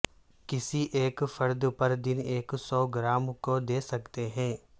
کسی ایک فرد پر دن ایک سو گرام کو دے سکتے ہیں